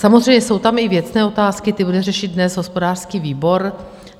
Samozřejmě jsou tam i věcné otázky, ty bude řešit dnes hospodářský výbor.